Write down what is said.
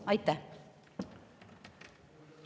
Aitäh!